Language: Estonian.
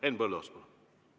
Henn Põlluaas, palun!